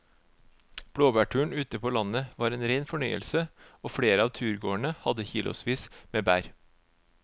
Blåbærturen ute på landet var en rein fornøyelse og flere av turgåerene hadde kilosvis med bær.